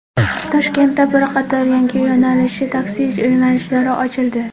Toshkentda bir qator yangi yo‘nalishli taksi yo‘nalishlari ochildi.